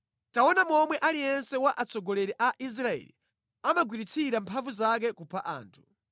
“ ‘Taona momwe aliyense wa atsogoleri a Israeli amagwiritsira mphamvu zake kupha anthu.